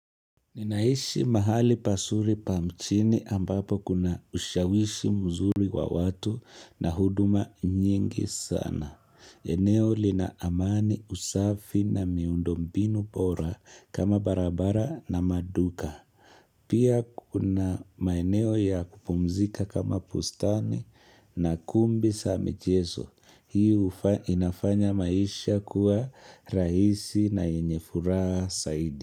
Ninaishi mahali pazuri pa mjini ambapo kuna ushawishi mzuri wa watu na huduma nyingi sana. Eneo lina amani usafi na miundo mbinu bora kama barabara na maduka. Pia kuna maeneo ya kupumzika kama bustani na kumbi za michezo. Hii inafanya maisha kuwa rahisi na yenye furaha zaidi.